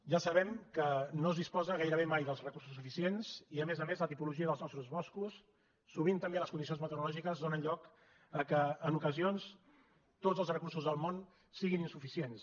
ja sabem que no es disposa gairebé mai dels recur·sos suficients i a més a més la tipologia dels nostres boscos sovint també les condicions meteorològiques dóna lloc que en ocasions tots els recursos del món siguin insuficients